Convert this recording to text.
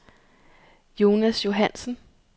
Jonas Johannsen